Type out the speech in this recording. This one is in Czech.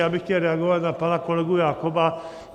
Já bych chtěl reagovat na pana kolegu Jakoba .